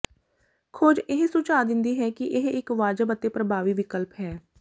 ਖੋਜ ਇਹ ਸੁਝਾਅ ਦਿੰਦੀ ਹੈ ਕਿ ਇਹ ਇੱਕ ਵਾਜਬ ਅਤੇ ਪ੍ਰਭਾਵੀ ਵਿਕਲਪ ਹੈ